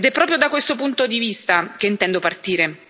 Ed è proprio da questo punto di vista che intendo partire.